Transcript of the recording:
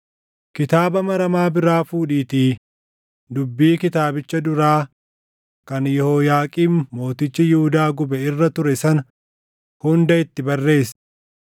“Kitaaba maramaa biraa fuudhiitii dubbii kitaabicha duraa kan Yehooyaaqiim mootichi Yihuudaa gube irra ture sana hunda itti barreessi.